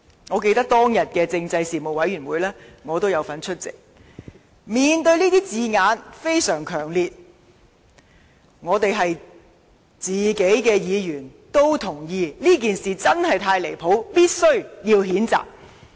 我記得我亦有出席當天的政制事務委員會特別會議，面對這些相當強烈的字眼，委員們也同意，這事件確實太過分，必須予以譴責。